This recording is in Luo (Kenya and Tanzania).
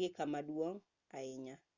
gi kama duong' ahinya